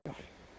Dura.